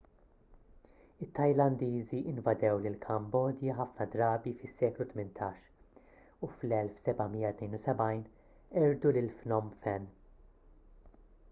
it-tajlandiżi invadew lill-kambodja ħafna drabi fis-seklu 18 u fl-1772 qerdu lil phnom phen